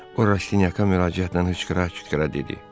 O Rastinyaka müraciətlə hıçqıra-hıçqıra dedi: